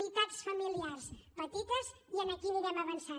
unitats familiars petites i aquí anirem avançant